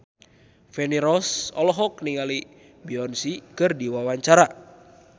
Feni Rose olohok ningali Beyonce keur diwawancara